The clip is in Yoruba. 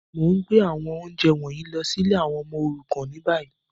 Mo n gbé àwọn ounjẹ wọ̀nyí lọ si ìlé àwon ọmọ òrukàn ni bayi.